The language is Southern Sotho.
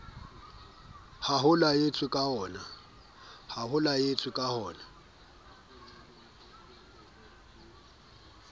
oo ho laetsweng ka oona